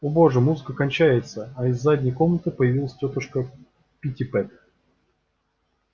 о боже музыка кончается а из задней комнаты появилась тётушка питтипэт